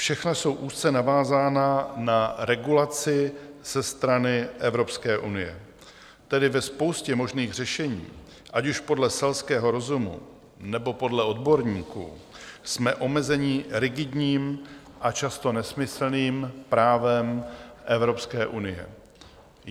Všechna jsou úzce navázána na regulaci ze strany Evropské unie, tedy ve spoustě možných řešení, ať už podle selského rozumu, nebo podle odborníků, jsme omezeni rigidním a často nesmyslným právem Evropské unie.